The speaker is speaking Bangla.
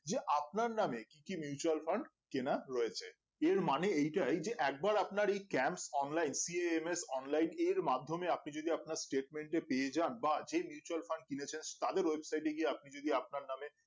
যে আপনার নামে কি কি mutual fund কেনা রয়েছে আর মানেই এইটাই যে একবার আপনার এই camp onlineP M S online এর মাধ্যমে আপনি যদি আপনার statement এ পেয়ে যান যে যে mutual fund কিনেছেন তাদের website এ গিয়ে আপনি যদি আপনার নামে